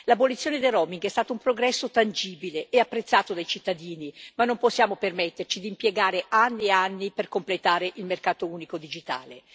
L'abolizione del roaming è stato un progresso tangibile e apprezzato dai cittadini ma non possiamo permetterci di impiegare anni e anni per completare il mercato unico digitale.